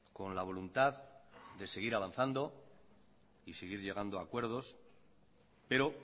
con la voluntad de seguir avanzando y seguir llegando a acuerdos pero